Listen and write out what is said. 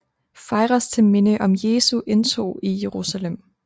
Fejres til minde om Jesu indtog i Jerusalem